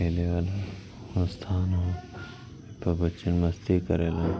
खेले वाला स्थान ह बच्चे मस्ती करेला --